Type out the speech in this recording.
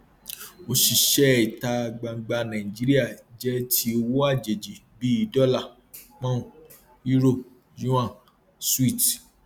òṣìṣẹ ìta gbangba nàìjíríà jẹ ti owó àjèjì bí dólà poun euro yuan switz